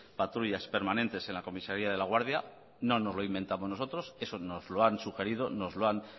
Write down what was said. patrullas permanentes en la comisaría de laguardia no nos lo inventamos nosotros eso nos lo han sugerido nos lo han